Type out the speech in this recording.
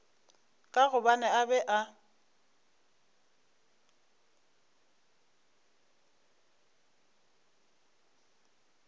ka gobane a be a